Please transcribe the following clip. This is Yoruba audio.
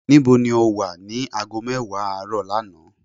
ní bó ni o wa ni aago mewa aaro lánàá?